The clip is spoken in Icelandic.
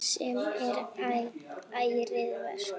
Sem er ærið verk.